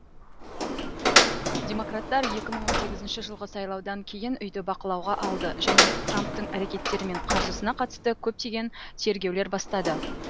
демократтар екі мың он сегізінші жылғы сайлаудан кейін үйді бақылауға алды және трамптың әрекеттері мен қаржысына қатысты көптеген тергеулер бастады